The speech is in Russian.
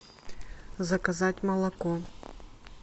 заказать молоко